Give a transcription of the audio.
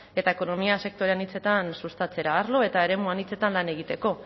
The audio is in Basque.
eta ekonomia sektore anitzetan sustatzera arlo eta eremu anitzetan lan egiteko